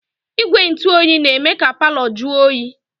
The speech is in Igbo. Igwe ntụoyi na-eme ka palọ jụọ oyi.